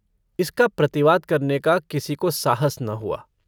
इसका प्रतिवाद करने का किसी को साहस न हुआ।